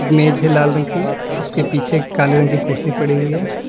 मेज है लाल रंग की उसके पीछे एक काले रंग की कुर्सी पड़ी हुई है।